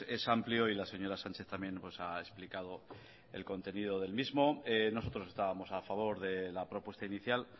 es amplio y la señora sánchez también ha explicado el contenido del mismo nosotros estábamos a favor de la propuesta inicial